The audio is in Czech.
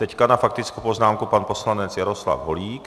Teď na faktickou poznámku pan poslanec Jaroslav Holík.